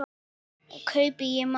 Fer og kaupi í matinn.